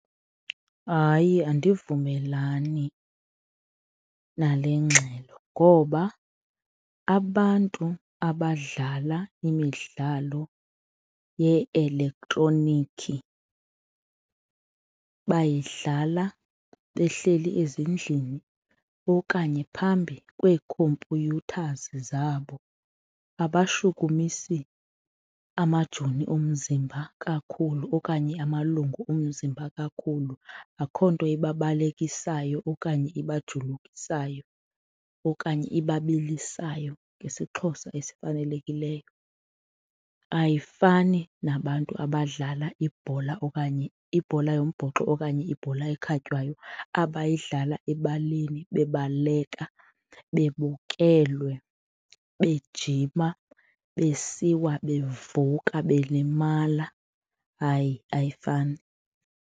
Hayi, andivumelani nale ngxelo ngoba abantu abadlala imidlalo ye-elektroniki bayidlala behleli ezindlini okanye phambi kwee-computers zabo. Abashukumisi amajoni omzimba kakhulu okanye amalungu omzimba kakhulu, akho nto ibabalekisayo okanye ibajulukisayo okanye ibabilisayo ngesiXhosa esifanelekileyo. Ayifani nabantu abadlala ibhola okanye ibhola yombhoxo okanye ibhola ekhatywayo abayidlala ebaleni bebaleka, bebukelwe, bejima, besiwa bevuka belimala. Hayi, ayifani.